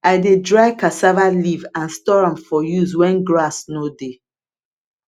i dey dry cassava leaf and store am for use when grass no dey